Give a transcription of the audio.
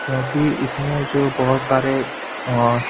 क्योंकि इसमें जो बहुत सारे और--